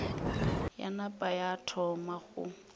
ya napa ya thoma go